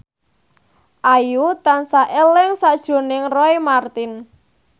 Ayu tansah eling sakjroning Roy Marten